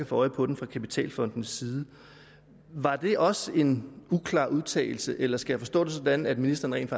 få øje på den fra kapitalfondenes side var det også en uklar udtalelse eller skal jeg forstå det sådan at ministeren rent